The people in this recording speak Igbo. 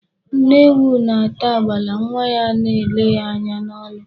Nne ewu na-ata agbala, nwa ya a na-ele ya anya n'ọnụ.